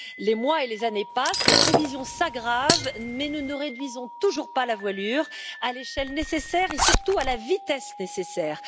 Les mois et les années passent, les prévisions s'aggravent, mais nous ne réduisons toujours pas la voilure à l'échelle nécessaire et surtout à la vitesse nécessaire.